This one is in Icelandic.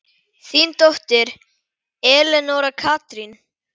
Þín dóttir, Elenóra Katrín.